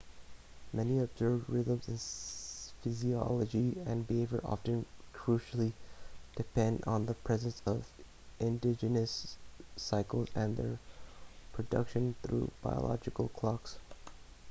many observed rhythms in physiology and behavior often crucially depend on the presence of endogenous cycles and their production through biological clocks